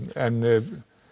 en